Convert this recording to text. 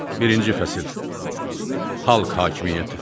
Birinci fəsil, Xalq hakimiyyəti.